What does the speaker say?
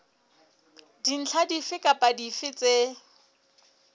dintlha dife kapa dife tse